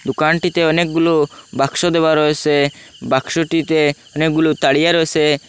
দোকানটিতে অনেকগুলো বাক্স দেওয়া রয়েসে বাক্সটিতে অনেকগুলো তারিয়া রয়েসে।